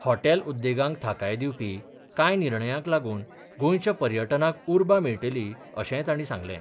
Hotel उद्देगांक थाकाय दिवपी कांय निर्णयाक लागून गोंयच्या पर्यटनाक उर्बा मेळटली अशेंय तांणी सांगलें.